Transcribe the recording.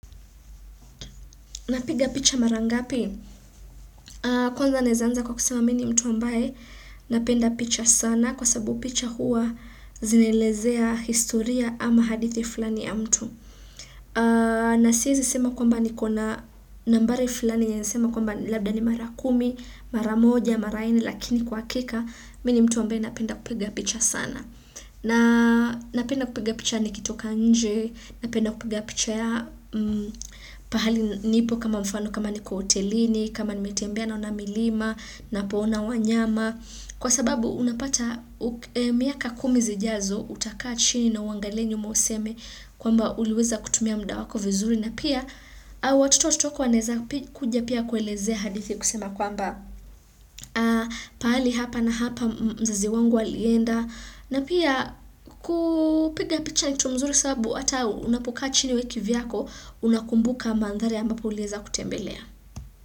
Napiga picha mara ngapi? Kwanza naeza anza kwa kusema mimi ni mtu ambaye napenda picha sana kwa sababu picha huwa zinaelezea historia ama hadithi fulani ya mtu. Nasiezi sema kwamba niko na nambari fulani ya naeza sema kwamba labda ni mara kumi, mara moja, mara nne lakini kwa hakika, mi ni mtu ambaye napenda kupiga picha sana na Napenda kupiga picha nikitoka nje, napenda kupiga picha ya pahali nipo kama mfano kama niko hotelini, kama nimetembea naona milima, napoona wanyama. Kwa sababu unapata miaka kumi zijazo utakaa chini na uangalie nyuma useme kwamba uliweza kutumia muda wako vizuri. Na pia au watoto wa watoto wako wanaeza kuja pia kuelezea hadithi kusema kwamba pahali hapa na hapa mzazi wangu alienda na pia kupiga picha ni kitu mzuri sababu ata unapokaa chini wewe kivyako unakumbuka mandhari ambapo ulieza kutembelea.